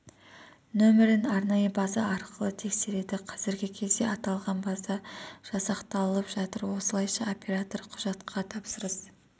нөмірін арнайы база арқылы тексереді қазіргі кезде аталған база жасақталып жатыр осылайша оператор құжатқа тапсырыс